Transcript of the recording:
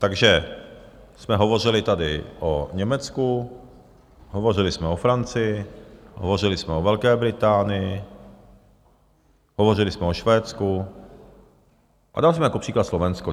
Takže jsme hovořili tady o Německu, hovořili jsme o Francii, hovořili jsme o Velké Británii, hovořili jsme o Švédsku a dali jsme jako příklad Slovensko.